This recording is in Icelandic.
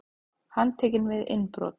Handtekinn við innbrot